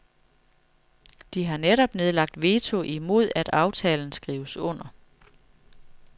De har netop nedlagt veto imod at aftalen skrives under.